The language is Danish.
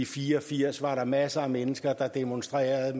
fire og firs var der masser af mennesker der demonstrerede